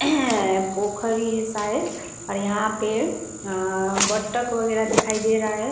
टोकरी है शायद और यहाँ पे अअ बत्तख वगेरा दिखाई दे रहा है ।